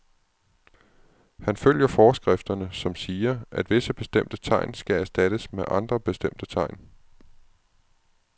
Han følger forskrifterne, som siger, at visse bestemte tegn skal erstattes med andre bestemte tegn.